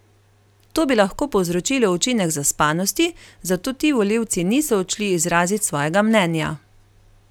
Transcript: To bi lahko povzročilo učinek zaspanosti, zato ti volivci niso odšli izrazit svojega mnenja.